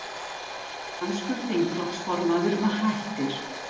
Danskur þingflokksformaður hættir